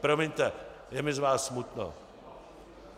Promiňte, je mi z vás smutno.